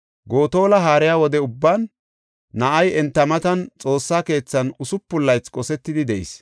Gotola haariya wode ubban na7ay enta matan Xoossa keethan usupun laythi qosetidi de7is.